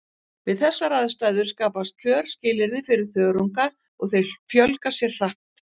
Við þessar aðstæður skapast kjörskilyrði fyrir þörunga og þeir fjölga sér hratt.